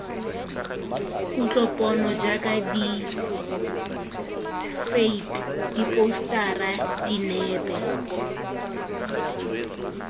kutlopono jaaka ditphate diphousetara dinepe